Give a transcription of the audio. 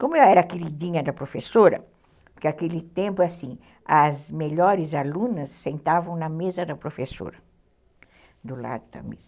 Como eu era queridinha da professora, porque naquele tempo, assim, as melhores alunas sentavam na mesa da professora, do lado da mesa.